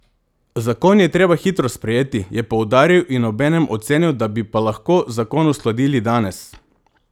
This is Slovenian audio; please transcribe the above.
Zakon je treba hitro sprejeti, je poudaril in obenem ocenil, da bi pa lahko zakon uskladili danes.